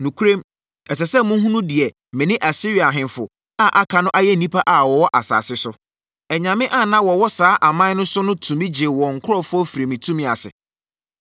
“Nokorɛm, ɛsɛ sɛ mohunu deɛ me ne Asiria ahemfo a aka no ayɛ nnipa a wɔwɔ asase so. Anyame a na wɔwɔ saa aman no so no tumi gyee wɔn nkurɔfoɔ firii me tumi ase?